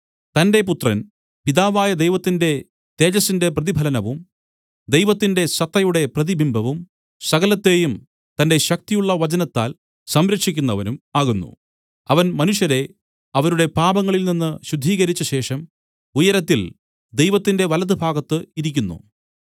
തന്റെ പുത്രൻ പിതാവായ ദൈവത്തിന്റെ തേജസ്സിന്റെ പ്രതിഫലനവും ദൈവത്തിന്‍റെ സത്തയുടെ പ്രതിബിംബവും സകലത്തേയും തന്‍റെ ശക്തിയുള്ള വചനത്താൽ സംരക്ഷിക്കുന്നവനും ആകുന്നു അവൻ മനുഷ്യരെ അവരുടെ പാപങ്ങളിൽ നിന്ന് ശുദ്ധീകരിച്ച ശേഷം ഉയരത്തിൽ ദൈവത്തിന്റെ വലത്തുഭാഗത്ത് ഇരിക്കുന്നു